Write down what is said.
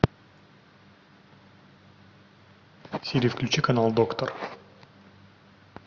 сири включи канал доктор